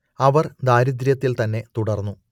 അവർ ദാരിദ്ര്യത്തിൽ തന്നെ തുടർന്നു